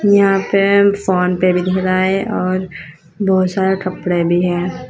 यहां पे फोन पे भी दिख रहा है और बहोत सारे कपड़े भी है।